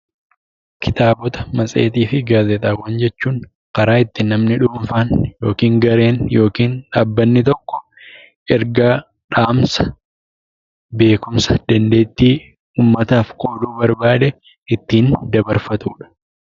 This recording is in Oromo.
Kitaabota matseetii fi gaazexaawwan jechuun karaa ittiin namni dhuunfaan yookiin gareen yookiin dhaabbatni tokko ergaa, dhaamsa, beekumsa, dandeettii uummataaf qooduu barbaade ittiin dabarfatudha.